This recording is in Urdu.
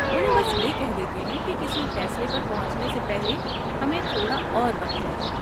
انہیں بس یہ کہہ دیتے ہیں کہ کسی فیصلے پر پہنچنے سے پہلے ہمیں تھوڑا اور وقت چاہیے۔